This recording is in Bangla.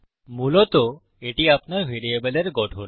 মূলত এটি আপনার ভ্যারিয়েবলের গঠন